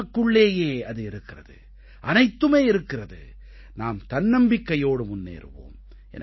நமக்குள்ளேயே அது இருக்கிறது அனைத்துமே இருக்கிறது நாம் தன்னம்பிக்கையோடு முன்னேறுவோம்